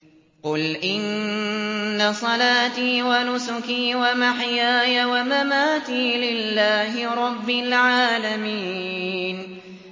قُلْ إِنَّ صَلَاتِي وَنُسُكِي وَمَحْيَايَ وَمَمَاتِي لِلَّهِ رَبِّ الْعَالَمِينَ